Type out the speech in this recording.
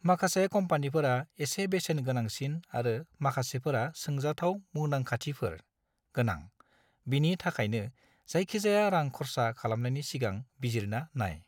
माखासे कम्पानिफोरा एसे बेसेन गोनांसिन आरो माखासेफोरा सोंजाथाव मुदांखाथिफोर गोनां, बिनि थाखायनो जायखिजाया रां खर्सा खालामनायनि सिगां बिजिरना नाय।